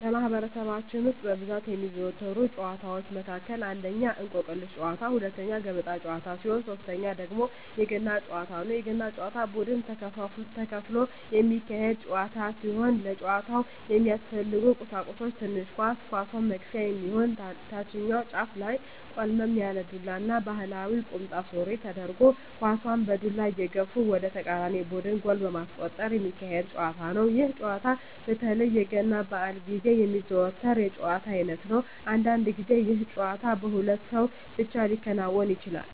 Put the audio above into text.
በማህበረሰባችን ውስጥ በብዛት ከሚዘወተሩ ጨዋታወች መካከል አንደኛ የእንቁር ጨዋታ፣ ሁለተኛ የገበጣ ጨዋታ ሲሆን ሶተኛው ደግሞ የገና ጨዋታ ነው። የገና ጨዋታ በቡድን ተከፍሎ የሚካሄድ ጨዋታ ሲሆን ለጨዋታው የሚያስፈልጉ ቀሳቁሶች ትንሽ ኳስ፣ ኳሷን መግፊያ የሚሆን ታችኛው ጫፉ ላይ ቆልመም ያለ ዱላ እና ባህላዊ ቁምጣ ሱሪ ተደርጎ ኳሳን በዱላ እየገፉ ወደ ተቃራኒ ቡድን ጎል በማስቆጠር ሚካሄድ ጨዋታ ነው። ይህ ጨዋታ በተለይ የገና በአል ግዜ የሚዘወተር የጨዋታ አይነት ነው። አንዳንድ ግዜ ይህ ጨዋታ በሁለት ሰው ብቻ ሊከናወን ይችላል።